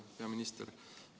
Hea minister!